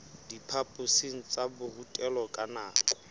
diphaphosing tsa borutelo ka nako